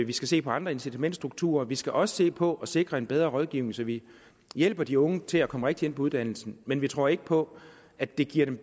vi skal se på andre incitamentsstrukturer og vi skal også se på at sikre en bedre rådgivning så vi hjælper de unge til at komme rigtigt ind på uddannelsen men vi tror ikke på at det giver dem